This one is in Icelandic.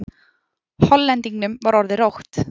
Hollendingnum var orðið rótt.